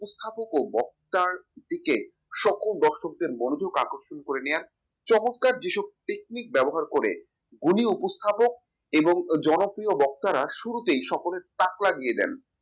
ও বক্তৃতার দিকে সকল দর্শকদের মনোযোগ আকর্ষিত করে নিয়ে আসবে চমৎকার যেসব technique ব্যবহার করে গুণী উপস্থাপক এবং জনপ্রিয় বক্তারা শুরুতেই সকলের তাক লাগিয়ে দেন